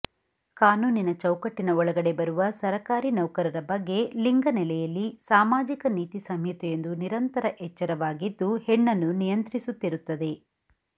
ಕಾನೂನಿನ ಚೌಕಟ್ಟಿನ ಒಳಗಡೆ ಬರುವ ಸರಕಾರಿ ನೌಕರರ ಬಗ್ಗೆ ಲಿಂಗನೆಲೆಯಲ್ಲಿ ಸಾಮಾಜಿಕ ನೀತಿ ಸಂಹಿತೆಯೊಂದು ನಿರಂತರ ಎಚ್ಚರವಾಗಿದ್ದು ಹೆಣ್ಣನ್ನು ನಿಯಂತ್ರಿಸುತ್ತಿರುತ್ತದೆ